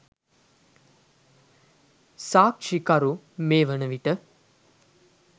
සාක්‍ෂිකරු මේ වනවිට